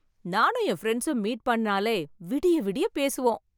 நானும் என் பிரண்ட்ஸும் மீட் பண்ணினாலே விடிய விடிய பேசுவோம்.